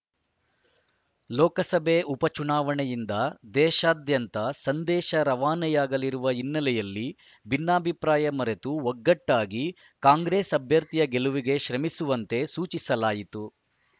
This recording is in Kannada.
ಲೋಕಸಭೆ ಉಪ ಚುನಾವಣೆಯಿಂದ ದೇಶಾದ್ಯಂತ ಸಂದೇಶ ರವಾನೆಯಾಗಲಿರುವ ಹಿನ್ನೆಲೆಯಲ್ಲಿ ಭಿನ್ನಾಭಿಪ್ರಾಯ ಮರೆತು ಒಗ್ಗಟ್ಟಾಗಿ ಕಾಂಗ್ರೆಸ್‌ ಅಭ್ಯರ್ಥಿಯ ಗೆಲುವಿಗೆ ಶ್ರಮಿಸುವಂತೆ ಸೂಚಿಸಲಾಯಿತು